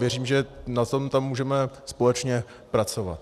Věřím, že na tom tam můžeme společně pracovat.